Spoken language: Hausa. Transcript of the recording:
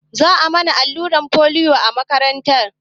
Za a mana allurar folio a makaranta